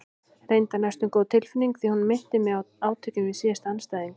Reyndar næstum góð tilfinning því hún minnti mig á átökin við síðasta andstæðing.